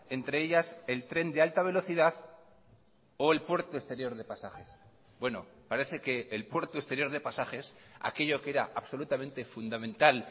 entre ellas el tren de alta velocidad o el puerto exterior de pasajes bueno parece que el puerto exterior de pasajes aquello que era absolutamente fundamental